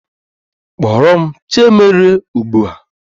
Kpọrọ m Chiemerie ugbu a!